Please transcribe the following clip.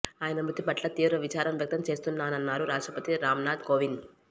ఆయన మృతి పట్ల తీవ్ర విచారం వ్యక్తం చేస్తున్నానన్నారు రాష్ట్రపతి రామ్నాథ్ కోవింద్